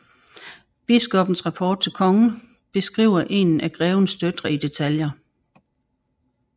Biskoppens rapport til kongen beskriver en af grevens døtre i detaljer